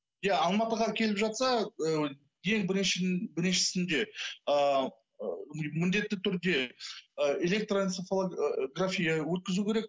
иә алматыға келіп жатса ыыы ең біріншісінде ыыы міндетті түрде ы электроэнцефалография өткізу керек